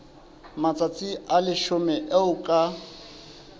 matsatsi a leshome eo ka